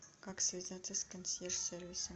как связаться с консьерж сервисом